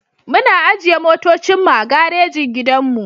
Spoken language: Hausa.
Muna ajiye motocin mu a garejin gidanmu.